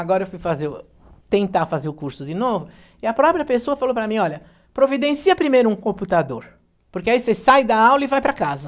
Agora eu fui tentar fazer o curso de novo, e a própria pessoa falou para mim, olha, providencia primeiro um computador, porque aí você sai da aula e vai para casa.